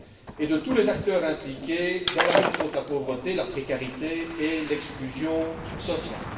et de tous les acteurs impliqués dans la lutte contre la pauvreté, la précarité et l'exclusion sociale.